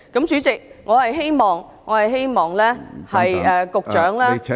主席，我希望局長......